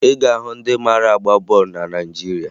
Ị ga-ahụ ndị mara agba bọọlụ na Naịjirịa